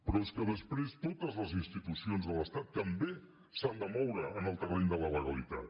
però és que després totes les institucions de l’estat també s’han de moure en el terreny de la legalitat